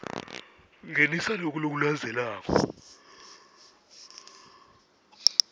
ngenisa loku lokulandzelako